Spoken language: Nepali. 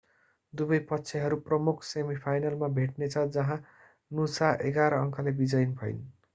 दुवै पक्षहरू प्रमुख सेमिफाइनलमा भेट्नेछ जहाँ नुसा 11 अंकले विजयी भइन्